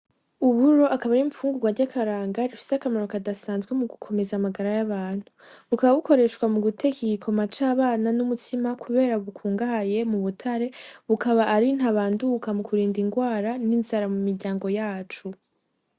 Uburo akaba ari ibifungugwa vy'akaranga, bifise akamaro kadasanzwe mugukomeza amagara y'abantu. Bukaba bukoreshwa muguteka igikoma c'abana n'umutsima kubera bukungabaye mu butare. Bukaba ari ntabanduka mu gukinga ingwara n'inzara mumiryango yacu.